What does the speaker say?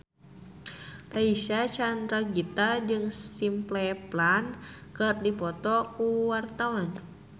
Reysa Chandragitta jeung Simple Plan keur dipoto ku wartawan